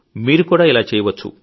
మీరు కూడా ఇలా చేయవచ్చు